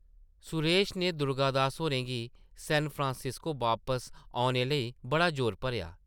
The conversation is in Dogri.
सुरेश नै दुर्गा दास होरें गी सैनफ्रांसिस्को वापस औने लेई बड़ा जोर भरेआ ।